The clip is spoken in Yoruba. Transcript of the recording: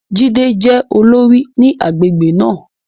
Jídé jẹ́ olórí ní agbègbè náà.